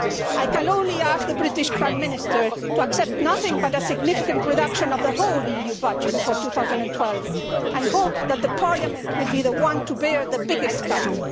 I can only ask the British Prime Minister to accept nothing but a significant reduction of the whole EU budget for 2012 and hope that Parliament will be the one to bear the biggest cut.